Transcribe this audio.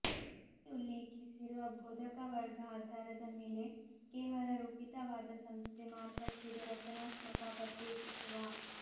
ಮೇಲೆ ಉಲ್ಲೇಖಿಸಿರುವ ಬೋಧಕವರ್ಗ ಆಧಾರದ ಮೇಲೆ ಕೇವಲ ರೂಪಿತವಾದ ಸಂಸ್ಥೆ ಮಾರ್ಪಟ್ಟಿದೆ ರಚನಾತ್ಮಕ ಪ್ರತ್ಯೇಕಿಸುವ